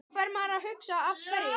Þá fer maður að hugsa Af hverju?